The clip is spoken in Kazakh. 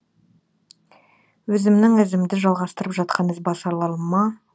өзімнің ізімді жалғастырып жатқан ізбасарларыма